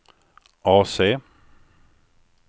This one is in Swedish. AC